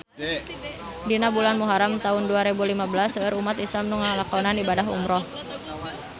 Dina bulan Muharam taun dua rebu lima belas seueur umat islam nu ngalakonan ibadah umrah